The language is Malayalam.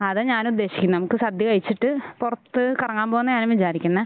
അതാ ഞാന് ഉദ്ദേശിക്കുന്നെ നമുക്ക് സദ്യ കഴിച്ചിട്ട് പുറത്ത് കറങ്ങാൻ പോകാന്നാ ഞാനും വിചാരിക്കുന്നെ